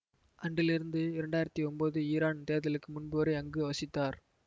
அன்றிலிருந்து இரண்டு ஆயிரத்தி ஒம்போது ஈரான் தேர்தலுக்கு முன்பு வரை அங்கு வசித்தார்